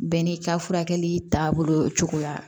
Bɛɛ n'i ka furakɛli taabolo cogoya